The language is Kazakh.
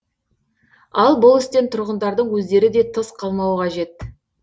ал бұл істен тұрғындардың өздері де тыс қалмауы қажет